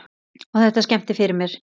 Og þetta skemmdi fyrir mér.